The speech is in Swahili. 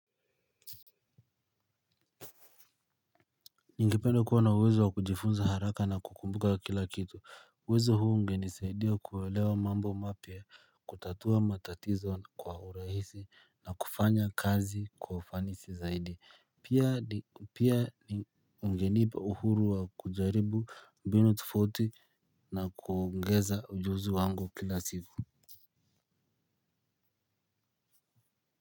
Ningependa kuwa na uwezo wa kujifunza haraka na kukumbuka kila kitu uwezo huu ungenisaidia kuelewa mambo mapya kutatua matatizo kwa urahisi na kufanya kazi kwa ufanisi zaidi pia ungenipa uhuru wa kujaribu mbinu tofauti na kuongeza ujuzi wangu kila siku.